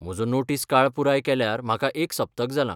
म्हजो नोटीस काळ पुराय केल्यार म्हाका एक सप्तक जालां.